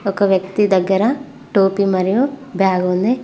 ఒక వ్యక్తి దగ్గర టోపీ మరియు బ్యాగు ఉంది.